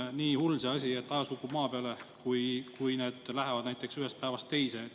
Kas on siis nii hull see asi, et taevas kukub maa peale, kui nende läheb näiteks ühest päevast teise?